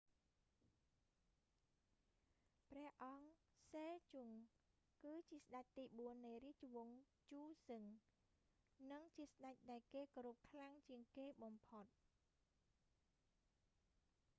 ព្រះអង្គ សេជុង គឺជាស្តេចទីបួននៃរាជវង្ស ជូសឹង និងជាស្តេចដែលគេគោរពខ្លាំងជាងគេបំផុត